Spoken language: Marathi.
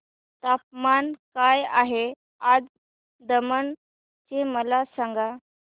तापमान काय आहे आज दमण चे मला सांगा